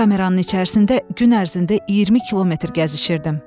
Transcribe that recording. Kameranın içərisində gün ərzində 20 km gəzişirdim.